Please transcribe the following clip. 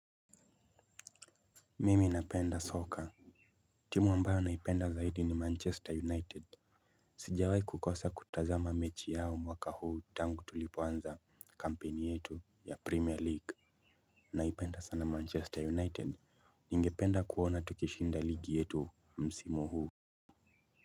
Mimi napenda soka. Timu ambayo naipenda zaidi ni manchester united. Sijawai kukosa kutazama mechi yao mwaka huu tangu tulipoanza kampeni yetu ya premier league naipenda sana manchester united. Ningependa kuona tukishinda ligi yetu msimu huu.